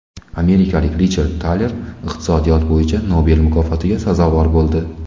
Amerikalik Richard Taler iqtisodiyot bo‘yicha Nobel mukofotiga sazovor bo‘ldi.